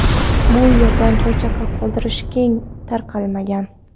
Bu yerda choychaqa qoldirish keng tarqalmagan.